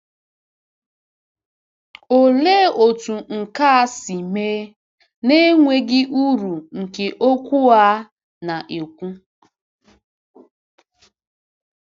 Olee otú nke a si mee n’enweghị uru nke okwu a na-ekwu?